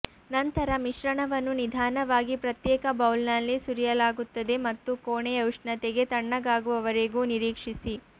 ನಂತರ ಮಿಶ್ರಣವನ್ನು ನಿಧಾನವಾಗಿ ಪ್ರತ್ಯೇಕ ಬೌಲ್ನಲ್ಲಿ ಸುರಿಯಲಾಗುತ್ತದೆ ಮತ್ತು ಕೋಣೆಯ ಉಷ್ಣತೆಗೆ ತಣ್ಣಗಾಗುವವರೆಗೂ ನಿರೀಕ್ಷಿಸಿ